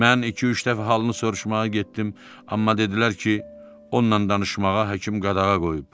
Mən iki-üç dəfə halını soruşmağa getdim, amma dedilər ki, onunla danışmağa həkim qadağa qoyub.